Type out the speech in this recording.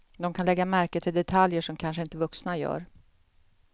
De kan lägga märke till detaljer som kanske inte vuxna gör.